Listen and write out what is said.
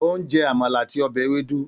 Ó ń jẹ Àmàlà àti ọbẹ̀ ewédú